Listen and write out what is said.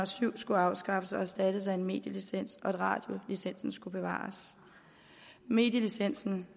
syv skulle afskaffes og erstattes af en medielicens og at radiolicensen skulle bevares medielicensen